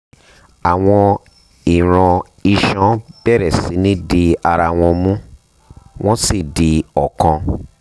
àwọn ìran iṣan bẹ̀rẹ̀ sí ní di ara wọn mú wọ́n sì di ọ̀kan